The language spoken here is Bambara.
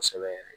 Kosɛbɛ yɛrɛ